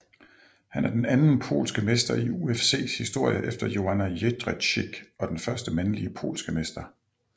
Han er den anden polske mester i UFCs historie efter Joanna Jędrzejczyk og den første mandlige polske mester